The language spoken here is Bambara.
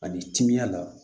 Ani timiya la